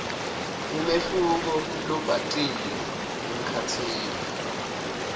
umehluko lobhacile emkhatsini